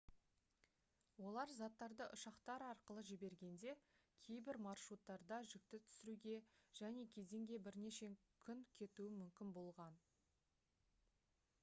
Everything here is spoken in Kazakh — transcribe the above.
олар заттарды ұшақтар арқылы жібергенде кейбір маршруттарда жүкті түсіруге және кеденге бірнеше күн кетуі мүмкін болған